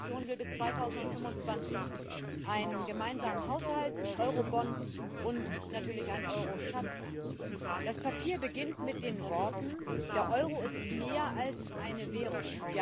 Die Kommission will bis 2025 einen gemeinsamen Haushalt, Eurobonds und natürlich ein Euro Schatzamt. Das Papier beginnt mit den Worten Der Euro ist mehr als eine Währung.